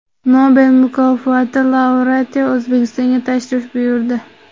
Nobel mukofoti laureati O‘zbekistonga tashrif buyurdi.